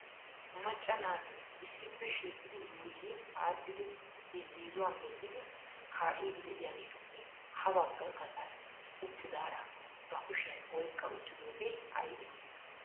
macca naati issippe shiiqidi yuuyyi aadhdhidi irzziizuwa medhdhidi kaa'idi de'iyaageetuppe ha bagga gaxan uttidaara ba lkushiyan oyqqa uttidooge aybbe ?